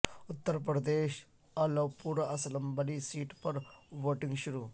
اتر پردیش کی Alapur assembly seat پر voting شروع